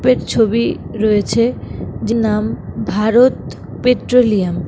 ছবি রয়েছেযে নাম ভারত পেট্রোলিয়াম ।